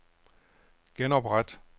genopret